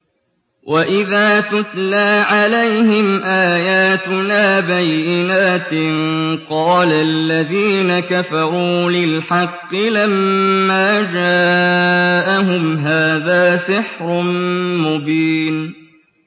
وَإِذَا تُتْلَىٰ عَلَيْهِمْ آيَاتُنَا بَيِّنَاتٍ قَالَ الَّذِينَ كَفَرُوا لِلْحَقِّ لَمَّا جَاءَهُمْ هَٰذَا سِحْرٌ مُّبِينٌ